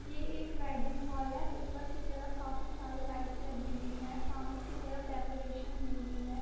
ये एक wedding hall है ऊपर के तरफ काफी सारे लाइट लगी हुई है सामने की तरफ डेकोरेशन हुई हुई है।